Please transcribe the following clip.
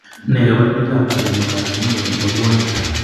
Nee kabarunoikab Adenocarcinoma nebo puanik?